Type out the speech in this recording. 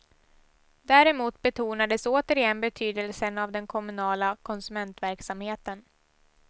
Däremot betonades återigen betydelsen av den kommunala konsumentverksamheten.